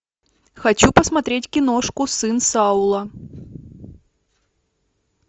хочу посмотреть киношку сын саула